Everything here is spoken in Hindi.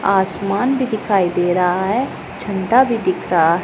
आसमान भी दिखाई दे रहा है झंडा भी दिख रहा --